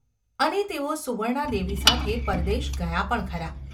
અને તેઓ સુવર્ણાદેવી સાથે પરદેશ ગયા પણ ખરા.